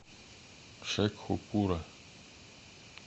шекхупура